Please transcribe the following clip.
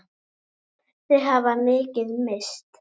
Þau hafa mikið misst.